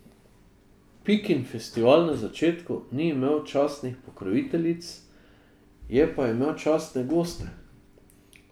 Pikin festival na začetku ni imel častnih pokroviteljic, je pa imel častne goste.